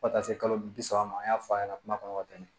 Fo ka taa se kalo bi saba ma an y'a fɔ a ɲɛna kuma kɔnɔ ka tɛmɛ